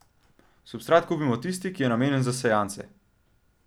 Substrat kupimo tisti, ki je namenjen za sejance.